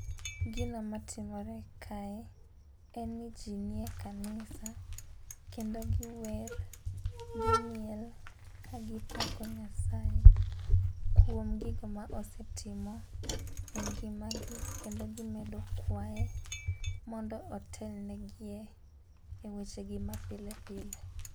Gino matimore kae en ni jii nie kanisa kendo giwer gimiel ka gipako nyasaye kuom gigo ma osetimo e ngima gi kendo gimedo kwaye mondo otelne gie e weche gi mapile pile.